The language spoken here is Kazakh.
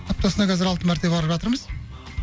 аптасына қазір алты мәрте барып жатырмыз